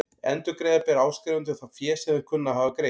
Endurgreiða ber áskrifendum það fé sem þeir kunna að hafa greitt.